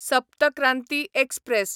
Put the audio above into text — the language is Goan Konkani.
सप्त क्रांती एक्सप्रॅस